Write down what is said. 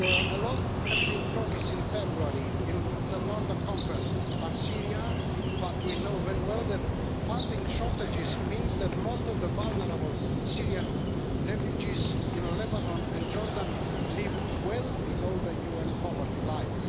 A lot was promised in February at the London Conference on Syria, but we know very well that funding shortages means that most of the vulnerable Syrian refugees in Lebanon and Jordan live well below the UN poverty line.